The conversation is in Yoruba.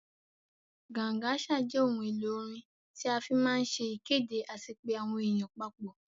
Gangsa jẹ ohun èlò orin tí a fí máa ń se ìkéde àti pé àwọn èèyàn papọ̀